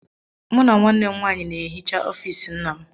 Mụ na nwanne m nwaanyị na-ehicha ọfiisi nna m.